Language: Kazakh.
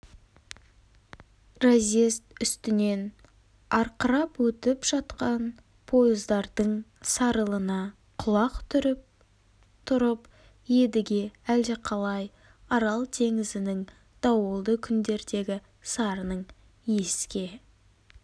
разъезд үстінен арқырап өтіп жатқан пойыздардың сарылына құлақ түріп тұрып едіге әлдеқалай арал теңізінің дауылды күндердегі сарынын еске